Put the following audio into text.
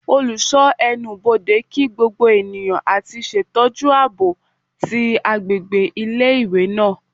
oluso enubodè kí gbogbo eniyan ati ṣetọju aabo ti agbegbe ile-iwe naa